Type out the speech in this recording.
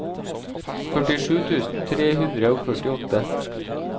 førtisju tusen tre hundre og førtiåtte